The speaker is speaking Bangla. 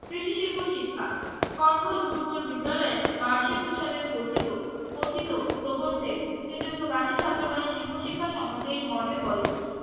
কৃষি শিল্প শিক্ষা কঙ্খল গুরুকুল বিদ্যালয় এর বার্ষিক উৎসবে কথিত কথিত প্রবন যে শ্রীযুক্ত গান্ধী ছাত্রগণের শিল্প শিক্ষা সম্বন্ধে এই মর্মে বলেন